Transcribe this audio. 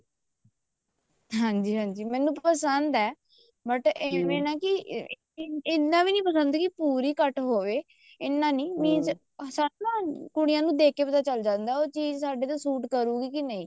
ਹਾਂਜੀ ਹਾਂਜੀ ਮੈਨੂੰ ਪਸੰਦ ਹੈ but ਐਂਵੇ ਨਾ ਕੀ ਇੰਨਾ ਵੀ ਨੀ ਪਸੰਦ ਕੇ ਪੂਰਾ ਹੀ cut ਹੋਵੇ ਇੰਨਾ ਨੀ ਪਸੰਦ ਕੀ ਪੂਰੀ cut ਹੋਵੇ ਇੰਨਾ ਨੀ ਸਾਨੂੰ ਨਾ ਕੁੜੀਆਂ ਨੂੰ ਦੇਖ ਕੇ ਪਤਾ ਚੱਲ ਜਾਂਦਾ ਉਹ ਚੀਜ਼ ਸਾਡੇ ਤੇ ਸੂਟ ਕਰੂਗੀ ਜਾਂ ਨਹੀਂ